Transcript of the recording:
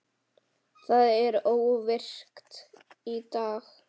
Það er óvirkt í dag.